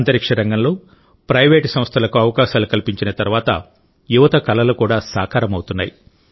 అంతరిక్షరంగంలో private సంస్థలకు అవకాశాలు కల్పించిన తర్వాత యువత కలలు కూడా సాకారమవుతున్నాయి